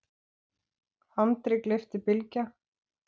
andri, gleypti Bylgja.